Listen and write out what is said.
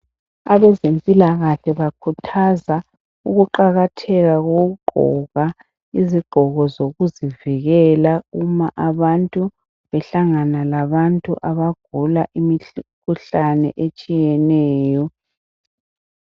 Abezempilakahle bakhuthaza ukuqakatheka kokugqoka izigqoko zokuzivikela uma abantu behlangana labantu abagula imikhuhlane etshiyeneyo.